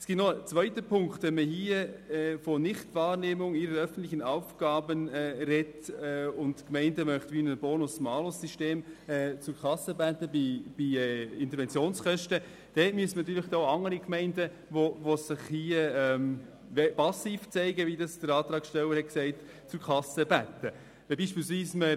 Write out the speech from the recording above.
Es gibt zudem einen zweiten Punkt: Wenn man von «Nichtwahrnehmung ihrer öffentlichen Aufgaben» spricht und die Gemeinden wie beim Bonus-Malus-System für Interventionskosten zur Kasse bitten will, müssten auch andere Gemeinden, die sich, wie der Antragsteller gesagt hat, passiv zeigen, zur Kasse gebeten werden.